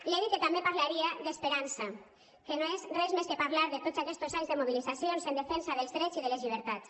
li he dit que també parlaria d’esperança que no és res més que parlar de tots aquests anys de mobilitzacions en defensa dels drets i de les llibertats